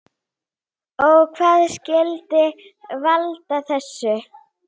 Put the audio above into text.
Og hvað skyldi valda þessu?